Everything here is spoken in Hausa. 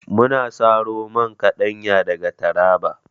Muna saro man kaɗanya daga taraba